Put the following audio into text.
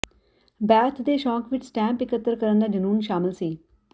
birth ਦੇ ਸ਼ੌਕ ਵਿਚ ਸਟੈਂਪ ਇਕੱਤਰ ਕਰਨ ਦਾ ਜਨੂੰਨ ਸ਼ਾਮਲ ਸੀ